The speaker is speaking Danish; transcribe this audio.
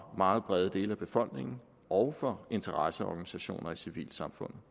meget brede dele af befolkningen og fra interesseorganisationer i civilsamfundet